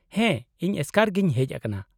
-ᱦᱮᱸ, ᱤᱧ ᱮᱥᱠᱟᱨ ᱜᱤᱧ ᱦᱮᱡ ᱟᱠᱟᱱᱟ ᱾